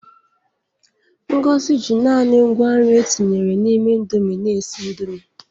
Ngozi ji naanị ngwa nri e tinyere n'ime Indomi na-esi Indomi.